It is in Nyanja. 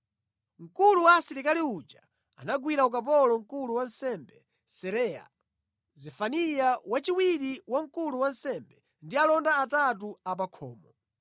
Mkulu wa asilikali uja anagwira ukapolo mkulu wa ansembe Seraya, Zefaniya wachiwiri wa mkulu wa ansembe ndi alonda atatu apakhomo.